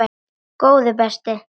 Góði besti!